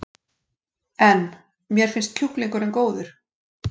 En: Mér finnst kjúklingurinn góður?